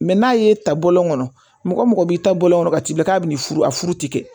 n'a ye ta bɔlɔn kɔnɔ mɔgɔ mɔgɔ b'i ta bɔlɔn kɔnɔ ka k'i bolo k'a bɛ nin furu a furu ti kɛ